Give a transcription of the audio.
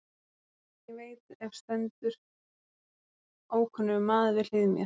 Áður en ég veit af stendur ókunnur maður við hlið mér.